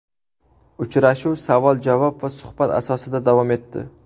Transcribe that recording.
Uchrashuv savol-javob va suhbat asosida davom etdi.